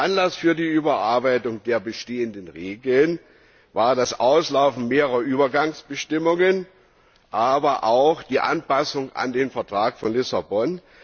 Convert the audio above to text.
Anlass für die Überarbeitung der bestehenden Regeln war das Auslaufen mehrerer Übergangsbestimmungen, aber auch die Anpassung an den Vertrag von Lissabon.